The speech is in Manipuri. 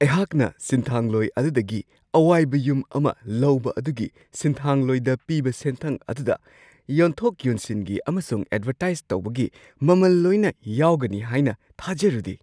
ꯑꯩꯍꯥꯛꯅ ꯁꯤꯟꯊꯥꯡꯂꯣꯏ ꯑꯗꯨꯗꯒꯤ ꯑꯋꯥꯏꯕ ꯌꯨꯝ ꯑꯃ ꯂꯧꯕ ꯑꯗꯨꯒꯤ ꯁꯤꯟꯊꯥꯡꯂꯣꯏꯗ ꯄꯤꯕ ꯁꯦꯟꯊꯪ ꯑꯗꯨꯗ ꯌꯣꯟꯊꯣꯛ-ꯌꯣꯟꯁꯤꯟꯒꯤ ꯑꯃꯁꯨꯡ ꯑꯦꯗꯚꯔꯇꯥꯏꯁ ꯇꯧꯕꯒꯤ ꯃꯃꯜ ꯂꯣꯏꯅ ꯌꯥꯎꯒꯅꯤ ꯍꯥꯏꯅ ꯊꯥꯖꯔꯨꯗꯦ ꯫